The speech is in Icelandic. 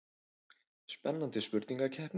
Spennandi spurningakeppni.